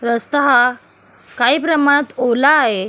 रस्ता हा काही प्रमाणात ओला आहे.